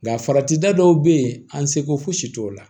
Nka farati da dɔw be yen an seko si t'o la